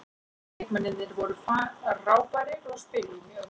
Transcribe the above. Leikmennirnir voru frábærir og spiluðu mjög vel.